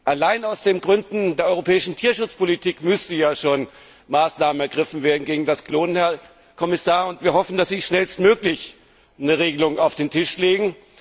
Alleine aus Gründen der europäischen Tierschutzpolitik müssten ja schon Maßnahmen gegen das Klonen ergriffen werden, Herr Kommissar, und wir hoffen, dass Sie schnellstmöglich eine Regelung auf den Tisch legen.